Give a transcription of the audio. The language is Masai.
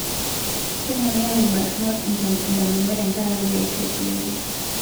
Kemoyiaa ilbarnot indamunot tenkaraku ilkeek le kulevya